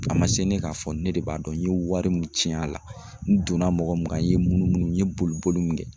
A ma se ne k'a fɔ ne de b'a dɔn n ye wari min tiɲɛn a la, n donna mɔgɔ mun kan n ye munumunu n ye boli boli mun kɛ.